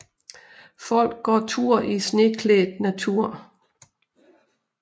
Folk går tur i sneklædt natur